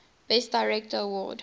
best director award